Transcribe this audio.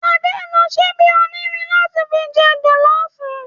Ade nló ṣìbi ónírìn látì fi jè ìrẹsì jòlòfú